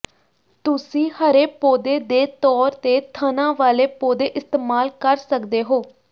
ਤੁਸੀਂ ਹਰੇ ਪੌਦੇ ਦੇ ਤੌਰ ਤੇ ਥਣਾਂ ਵਾਲੇ ਪੌਦੇ ਇਸਤੇਮਾਲ ਕਰ ਸਕਦੇ ਹੋ